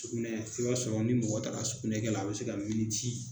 Sugunɛ i b'a sɔrɔ ni mɔgɔ taara sugunɛkɛ la a bɛ se ka